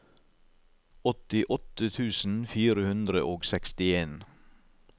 åttiåtte tusen fire hundre og sekstien